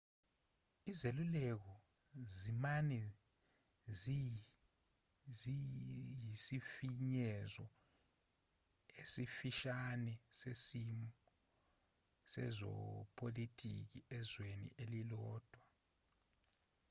izeluleko zimane ziyisifinyezo esifishane sesimo sezepolotiki ezweni elilodwa